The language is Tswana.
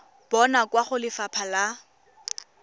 bonwa kwa go lefapha la